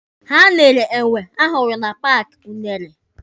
Ha nyere enwe ha hụrụ na paaki unere.